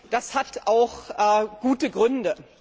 Das hat auch gute Gründe.